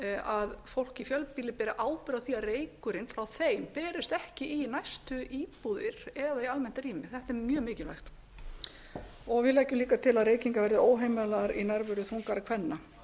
að fólk í fjölbýli beri ábyrgð á því að reykurinn frá þeim berist ekki í næstu íbúðir eða í almennt rými þetta er mjög mikilvægt við leggjum líka til að reykingar verði óheimilar í nærveru þungaðra kvenna